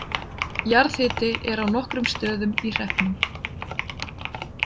Jarðhiti er á nokkrum stöðum í hreppnum.